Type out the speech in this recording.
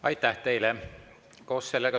Aitäh teile!